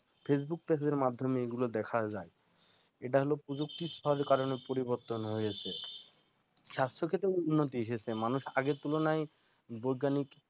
facebook page এর মাধ্যমেই এ গুলো দেখা যায় এটা হলো প্রযুক্তিরকা কারণে পরিবর্তন হয়েছে। স্বাস্থ্য ক্ষেত্রে উন্নতি এসেছে মানুষ আগের তুলনায় বৈজ্ঞানিক